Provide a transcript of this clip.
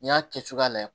N'i y'a kɛ cogoya lajɛ